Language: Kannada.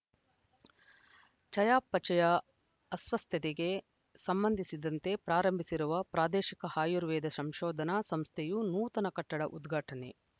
ಚಯಾಪಚಯ ಅಸ್ವಸ್ಥತೆಗೆ ಸಂಬಂಧಿಸಿದಂತೆ ಪ್ರಾರಂಭಿಸಿರುವ ಪ್ರಾದೇಶಿಕ ಆಯುರ್ವೇದ ಸಂಶೋಧನಾ ಸಂಸ್ಥೆಯ ನೂತನ ಕಟ್ಟಡ ಉದ್ಘಾಟನೆ